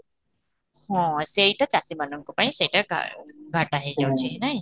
ହଁ, ସେଇଟା ଚାଷୀ ମାନଙ୍କ ପାଇଁ ସେଇଟା କାରଣ ହେଇ ଯାଉଛି ନାଇଁ